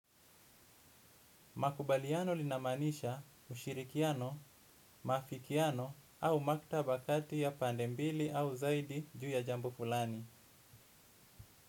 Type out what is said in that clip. Makubaliano linamanisha ushirikiano, mafikiano au maktabakati ya pandembili au zaidi juu ya jambu fulani.